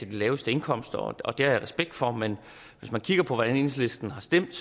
de laveste indkomster og det har jeg respekt for men hvis man kigger på hvordan enhedslisten har stemt